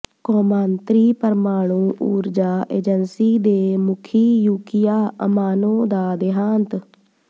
ਕੌਮਾਂਤਰੀ ਪਰਮਾਣੂ ਊਰਜਾ ਏਜੰਸੀ ਦੇ ਮੁਖੀ ਯੂਕੀਆ ਅਮਾਨੋ ਦਾ ਦੇਹਾਂਤ